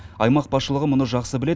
аймақ басшылығы мұны жақсы біледі